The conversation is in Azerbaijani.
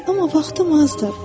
Amma vaxtım azdır.